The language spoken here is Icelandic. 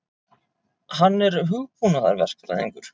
Hann er hugbúnaðarverkfræðingur.